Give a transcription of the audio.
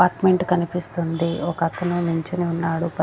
Apartment కనిపిస్తుంది ఒక అతను నించొని ఉన్నాడు .